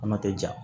Kuma tɛ ja